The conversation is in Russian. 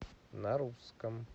на русском